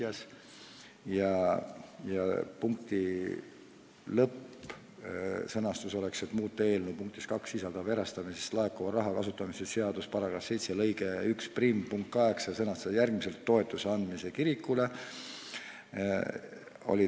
Otsustati, et selle punkti lõppsõnastus oleks: muuta eelnõu punktis 2 sisalduv erastamisest laekuva raha kasutamise seaduse § 7 lõike 11 punkt 8 ja sõnastada järgmiselt: "toetuse andmiseks kirikutele.".